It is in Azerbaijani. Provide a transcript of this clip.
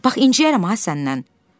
Bax inciyərəm ha səndən.